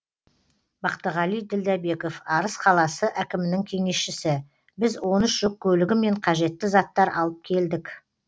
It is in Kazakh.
бақтығали ділдәбеков арыс қаласы әкімінің кеңесшісі біз он үш жүк көлігімен қажетті заттар алып келдік